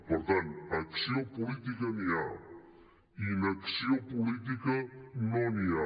per tant acció política n’hi ha inacció política no n’hi ha